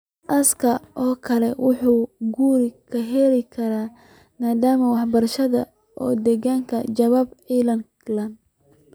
Aasaaskan oo kale waxa uu guri ka helaa nidaam waxbarasho oo adag, jawaab celin leh.